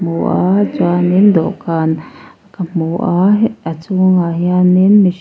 hmu a chuan in dawhkan ka hmu a he a chhungah hian in mih--